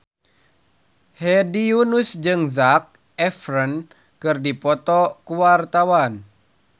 Hedi Yunus jeung Zac Efron keur dipoto ku wartawan